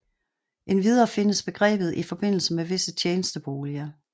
Endvidere findes begrebet i forbindelse med visse tjenesteboliger